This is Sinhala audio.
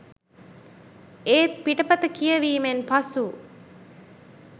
ඒත් පිටපත කියවීමෙන් පසු